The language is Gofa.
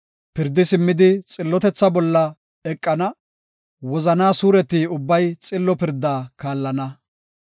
Pirdi simmidi xillotetha bolla eqana; wozanaa suureti ubbay xillo pirdaa kaallana.